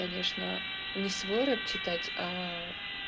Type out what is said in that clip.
конечно не свой рэп читать аа